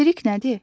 Materik nədir?